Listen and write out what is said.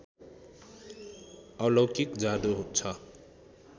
अलौकिक जादु छ